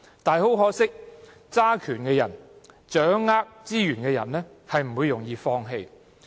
很可惜，掌權、掌握資源的人，並不容易放棄。